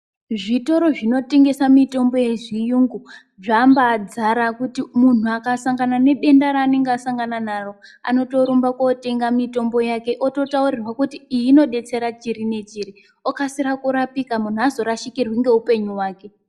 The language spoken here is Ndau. Zvitoro zvinotengesa mitombo yezviyungu, zvambadzara kuti umu. Munhu akasangana nedenda ranenge asangana naro, anotorumba kotenga mitombo yake, ototawurirwa kuti iyi inodetsera chiri nechiri, okasira kurapika. Munhu hazorashikirwi ngewupenyu wake.